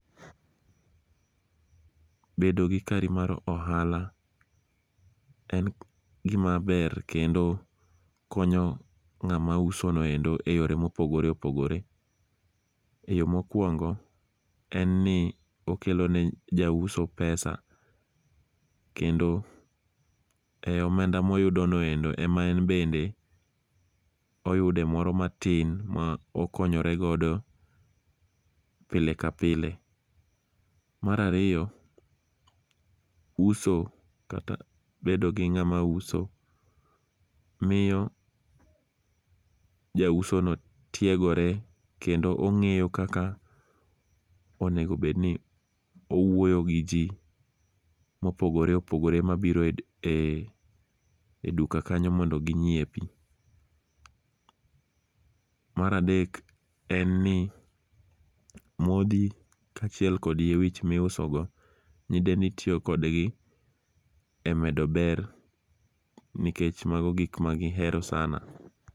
Bedo gi kari mar ohala en gima ber kendo konyo ng'ama usonoendo eyore mopogore opogore. Eyo mokuongo en ni okelo ne jauso pesa kendo ei omenda moyudono ema en bende oyude moro matin ma okonyoregodo pile kapile. Mar ariyo uso kata bedo gi ng'ama uso miyo jausono tiegore kendo ong'eyo kaka onego bedni owuoyo gi ji mopogore opogore mabiro e duka kanyo mondo ginyiepi. Mar adek en ni modhi kaachiel kod yie wich miusogo gin ema itiyo kodgi emedo ber nikech mago gik ma gihero sana.